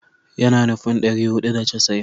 Yana nufin ɗari hudu da casa'in